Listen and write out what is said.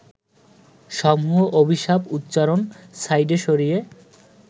সমূহ অভিশাপ-উচ্চারণ সাইডে সরিয়ে